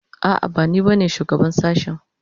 A'a bani ba ne shugaban shashen